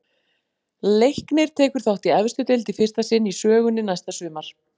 Leiknir tekur þátt í efstu deild í fyrsta sinn í sögunni næsta sumar.